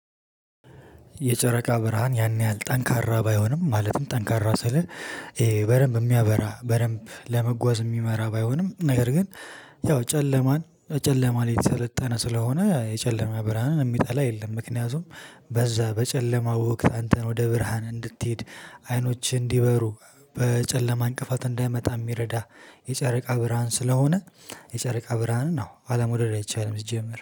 የጨረቃ ብርሃን ያን ያህል ጠንካራ ባይሆንም ማለትም ጠንካራ ስልህ ይሄ በደንብ የሚያበራ በደንብ ለመጓዝ የሚመራ ባይሆንም ነገር ግን ያው ጨለማን ጨለማ ላይ የተሰለጠነ ስለሆነ የጨለማ ብርሃንን የሚጠላ የለም። ምክንያቱም በዛ በጨለማ ወቅት አንተን ወደ ብርሃን እንድትሄድ አይኖችህ እንዲበሩ በጨለማ እንቅፋት እንዳይመጣ የሚረዳ የጨረቃ ብርሃን ስለሆነ የጨረቃ ብርሃንን አዎ አላመውሰደድ አይቻልም። ሲጀመር